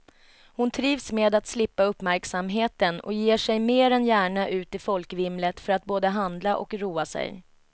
Hon trivs med att slippa uppmärksamheten och ger sig mer än gärna ut i folkvimlet för att både handla och roa sig.